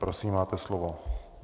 Prosím máte slovo.